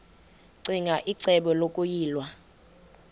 ccinge icebo lokuyilwa